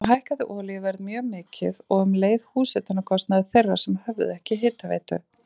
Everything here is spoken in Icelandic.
Þá hækkaði olíuverð mjög mikið og um leið hitunarkostnaður þeirra sem höfðu ekki hitaveitu.